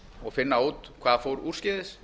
og finna út hvað fór úrskeiðis